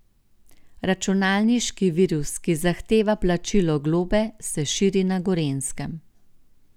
Računalniški virus, ki zahteva plačilo globe, se širi na Gorenjskem.